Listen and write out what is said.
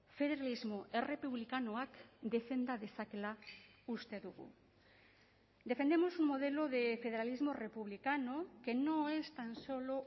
federalismo errepublikanoak defenda dezakeela uste dugu defendemos un modelo de federalismo republicano que no es tan solo